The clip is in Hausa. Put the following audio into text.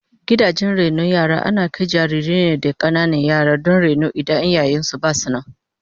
Gidajen rainon yara ana kai jarirai ne da kananan yara don raino in iyayen su basu nan